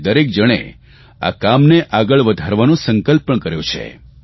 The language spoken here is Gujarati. અને દરેક જણે આ કામને આગળ વધારવાનો સંકલ્પ પણ કર્યો છે